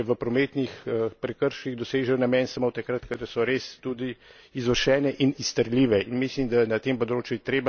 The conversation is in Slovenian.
Svoj namen pa kazni, posebej še v prometnih prekrških, dosežejo namen samo takrat, kadar so res tudi izvršene in izterljive.